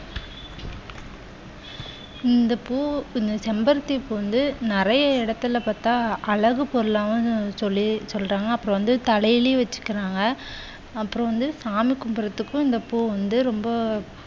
இந்த பூ செம்பருத்தி பூ வந்து நிறைய இடத்துல பார்த்தா அழகு பொருளாகவும் சொல்லி சொல்றாங்க. அப்புறம் வந்து தலையிலயும் வச்சிக்கிறாங்க. அப்புறம் வந்து சாமி கும்பிடறதுக்கும் இந்த பூ வந்து ரொம்ப